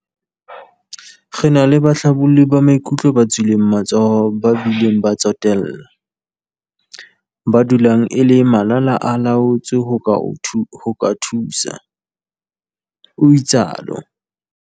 Re na le bahlabolli ba maikutlo ba tswileng matsoho ba bile ba tsotella, ba dulang e le malala-a-laotswe ho ka thusa," o itsalo.